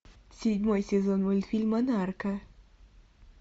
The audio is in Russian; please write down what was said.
седьмой сезон мультфильма нарко